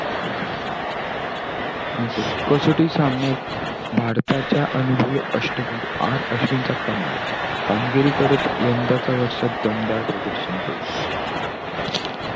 असंय का! कसोटी सामन्यात भारताच्या अनुभवी अष्टपैलू आर अश्विन चा कमाल. कामगिरी करत यंदाच्या वर्षात दमदार प्रदर्शन केलं.